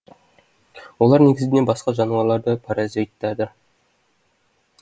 олар негізінен басқа жануарлардың паразиттары